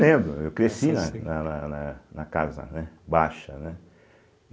Lembro, eu cresci na na na na na casa né baixa, né.